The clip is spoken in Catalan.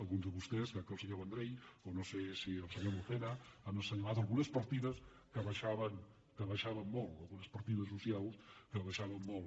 alguns de vos·tès crec que el senyor vendrell o no sé si el senyor lucena han assenyalat algunes partides que baixa·ven molt algunes partides socials que baixaven molt